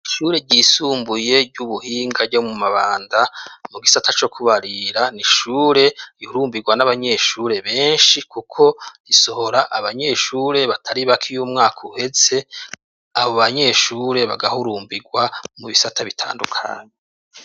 Ishure ryisumbuye ry'ubuhinga ryo mu Mabanda, mu gisata co kubarira, ni ishure ihurumbirwa n'abanyeshure benshi, kuko isohora abanyeshure batari bake iyo umwaka uheze, abo banyeshure bagahurumbirwa mu bisata bitandukanye.